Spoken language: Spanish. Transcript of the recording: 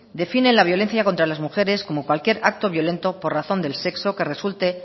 define la violencia contra las mujeres como cualquier acto violento por razón de sexo que resulte